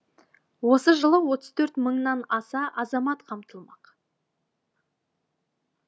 осы жылы отыз төрт мыңнан аса азамат қамтылмақ